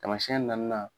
Taamasiyɛn naaninan